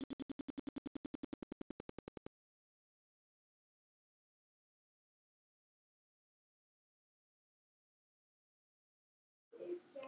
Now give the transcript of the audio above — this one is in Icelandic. hefði hvítur haft unnið tafl.